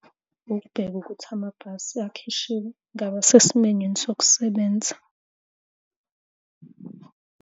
Ukubheka ukuthi amabhasi akhishiwe ngabe asesimeni yini sokusebenza.